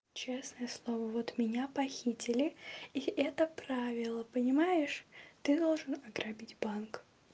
честное слово вот меня похитили и это правило понимаешь ты должен ограбить банк